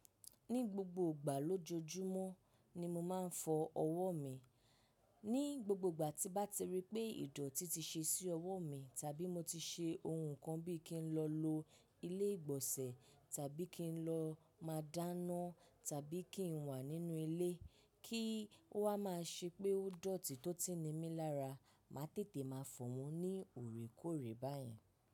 Ní gbogbo ìgbà lójoojúmọ́ ni mo máa ń fọ ọwọ́ mi. Ní gbogbo ìgbà tí bá ti rí pé ìdọ̀tí ti ṣe sí ọwọ́ mi, tàbí mo ti ṣe ohun kan bíi kí n lọ lo ilé ìgbọ̀nsẹ̀, tàbí kí n lọ máa dáná, tàbí kí n wà nínú ilé, kí ó wa ma ṣe pé ó dọ̀tí tó ti ní mi lára, máa tètè máa fọ̀ wọ́n ní òrékóòrè báyen.